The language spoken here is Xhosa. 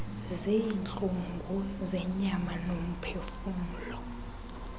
ziintlungu zenyama nomphefumlo